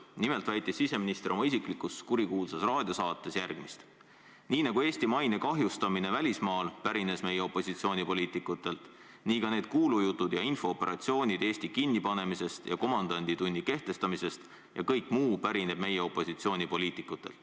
Nimelt väitis siseminister oma isiklikus kurikuulsas raadiosaates järgmist: "Nii nagu Eesti maine kahjustamine välismaal pärines meie opositsioonipoliitikutelt, nii ka need kuulujutud ja infooperatsioonid Eesti kinni panemisest ja komandanditunni kehtestamisest ja kõik muu pärineb meie opositsioonipoliitikutelt.